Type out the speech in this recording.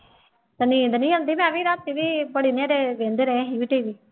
ਤੇ ਨੀਂਦ ਨੀ ਆਉਂਦੀ ਮੈਂ ਵੀ ਰਾਤੀ ਵੀ ਬੜੀ ਨੇਰੇ ਵਹਿੰਦੇ ਰਹੇ ਅਸੀਂ ਵੀ TV